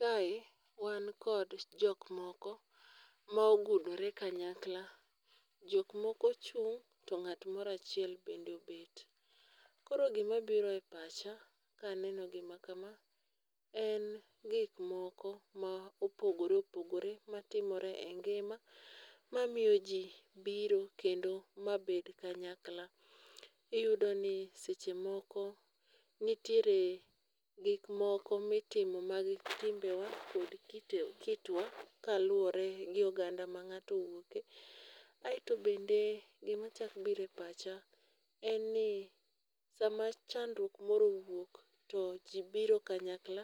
Kae wan kod jok moko ma ogudore kanyakla. Jok moko chung' to ng'at moro achiel bende obet. Koro gima biro e pacha ka neno gima kama, en gikmoko ma opogore opogore matimore e ngima, mamiyo ji biro kendo mabed kanyakla. Iyudo ni seche moko nitiere gikmoko mitimo mag timbewa kod kitwa kaluwore gi oganda ma ng'ato owuok e. Aeto bende gima chakbire pacha, en ni sama chandruok moro owuok to ji biro kanyakla